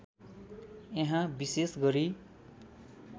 यहाँ विशेष गरी